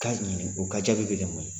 ka ɲini o ka jaabi bɛ kɛ mun ye.